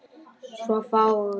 Svo fáguð.